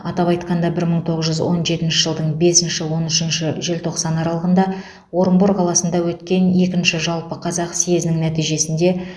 атап айтқанда бір мың тоғыз жүз он жетінші жылдың бесінші он үшінші желтоқсан аралығында орынбор қаласында өткен екінші жалпы қазақ съезінің нәтижесінде